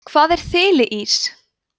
hvað er þiliís